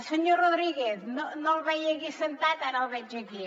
senyor rodríguez no el veia aquí assegut ara el veig aquí